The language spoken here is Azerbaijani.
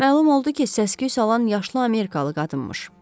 Məlum oldu ki, səs-küy salan yaşlı amerikalı qadınmış.